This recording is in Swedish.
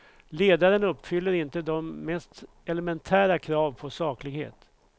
Ledaren uppfyller inte de mest elementära krav på saklighet.